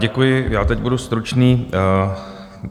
Děkuji, já teď budu stručný.